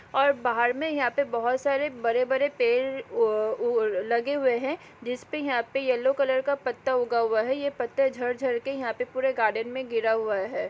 और बाहर में यहां पे बहोत सारे बड़े-बड़े पेड़ अ लगे हुए हैं जिसपे यहां पे येलो कलर का पत्ता उगा हुआ है यह पत्ता झड़-झड़ के यहां पे पूरे गार्डेन में गिरा हुआ है।